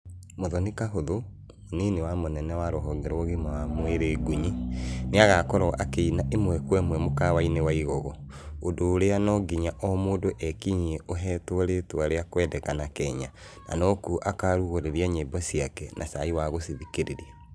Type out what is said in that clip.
Mũthoithi Kahũthũ, mũnini wa mũnene wa rũhonge rwa ũgima wa mwĩrĩ Ngũnyi, nĩagakorwo akĩina ĩmwe kwa ĩmwe mũkawainĩ wa Igogo, ũndũ ũrĩa no nginya o mũndũ ekinyie ũhetwo rĩtwa rĩa kũendekana Kenya na no kuo akarugũrĩria nyĩmbo ciake na cai wa gucithikĩrĩria.